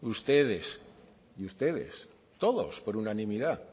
ustedes y ustedes todos por unanimidad